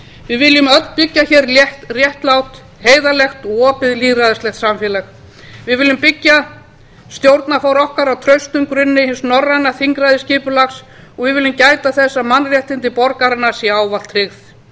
við viljum öll byggja hér réttlátt heiðarlegt og opið lýðræðislegt samfélag við viljum byggja stjórnarfar okkar á traustum grunni hins norræna þingræðisskipulags og við viljum gæta þess að mannréttindi borgaranna séu ávallt tryggð